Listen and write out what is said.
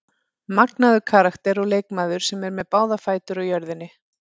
Magnaður karakter og leikmaður sem er með báðar fætur á jörðinni.